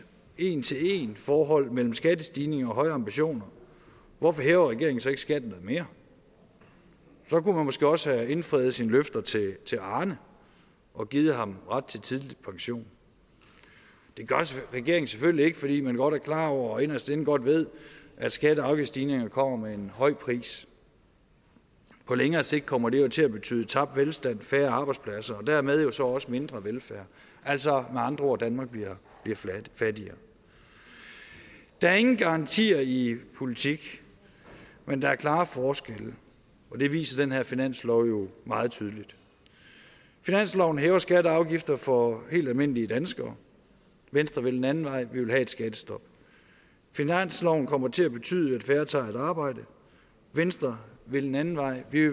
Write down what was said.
en til en forhold mellem skattestigning og høje ambitioner hvorfor hæver regeringen så ikke skatten noget mere så kunne man måske også have indfriet sine løfter til til arne og givet ham ret til tidlig pension det gør regeringen selvfølgelig ikke fordi man godt er klar over og inderst inde godt ved at skatte og afgiftsstigninger kommer med en høj pris på længere sigt kommer det her til at betyde tabt velstand og færre arbejdspladser og dermed jo så også mindre velfærd altså med andre ord danmark bliver fattigere der er ingen garantier i politik men der er klare forskelle og det viser den her finanslov jo meget tydeligt finansloven hæver skatter og afgifter for helt almindelige danskere venstre vil en anden vej vi vil have et skattestop finansloven kommer til at betyde at færre tager et arbejde venstre vil en anden vej vi